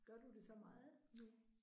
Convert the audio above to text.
Gør du det så meget nu?